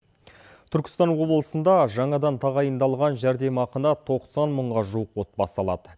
түркістан облысында жаңадан тағайындалған жәрдемақыны тоқсан мыңға жуық отбасы алады